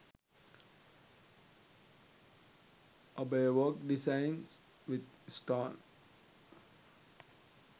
abaya work designs with stone